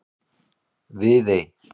Viðey